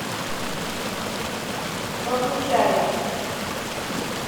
богучаре